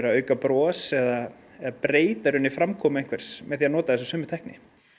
auka bros eða eða breyta í rauninni framkomu einhvers með þessari sömu tækni